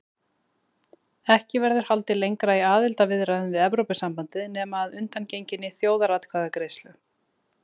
Ekki verður haldið lengra í aðildarviðræðum við Evrópusambandið nema að undangenginni þjóðaratkvæðagreiðslu.